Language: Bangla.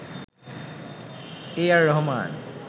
এ আর রহমান